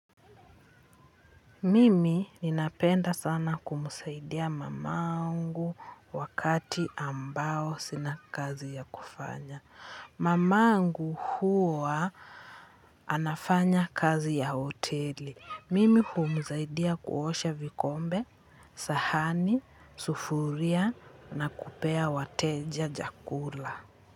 Mimi ninapenda sana kumsaidia mamangu wakati ambao sina kazi ya kufanya. Mamangu huwa anafanya kazi ya hoteli. Mimi humsaidia kuosha vikombe, sahani, sufuria na kupea wateja chakula.